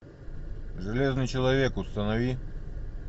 железный человек установи